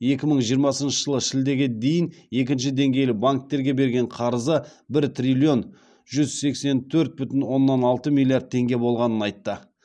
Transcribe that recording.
екі мың жиырмасыншы жылы шілдеге дейін екінші деңгейлі банктерге берген қарызы бір триллион жүз сексен төрт бүтін оннан алты миллиард теңге болғанын айтты